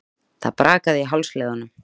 Það brakaði í hálsliðunum.